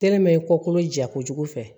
i ko kolo ja kojugu fɛ